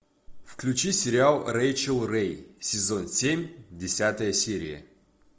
включи сериал рэйчел рэй сезон семь десятая серия